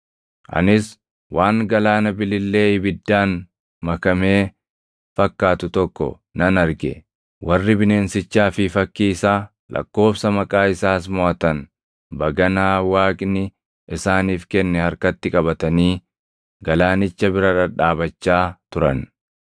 Anis waan galaana bilillee ibiddaan makamee fakkaatu tokko nan arge; warri bineensichaa fi fakkii isaa, lakkoobsa maqaa isaas moʼatan baganaa Waaqni isaaniif kenne harkatti qabatanii galaanicha bira dhadhaabachaa turan.